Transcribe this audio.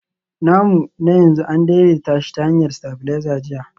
namu na yanzu an daidaita shi ta hanyar stabilizer jiya